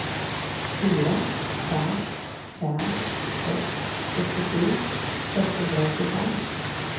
fyra fem fem sex sextiosju sexhundraåttiofem